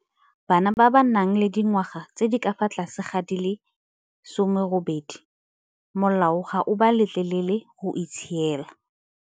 Bana ba ba nang le dingwaga tse di ka fa tlase ga di le 18 molao ga o ba letlelele go itshiela.